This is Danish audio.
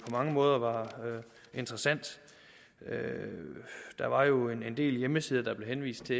mange måder var interessant der var jo en del hjemmesider der blev henvist til